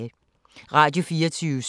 Radio24syv